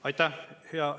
Aitäh!